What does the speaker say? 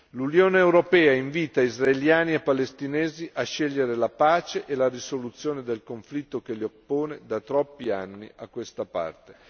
L'Unione europea invita israeliani e palestinesi a scegliere la pace e la risoluzione del conflitto che li oppone da troppi anni a questa parte.